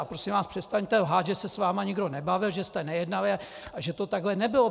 A prosím vás, přestaňte lhát, že se s vámi nikdo nebavil, že jste nejednali a že to takhle nebylo!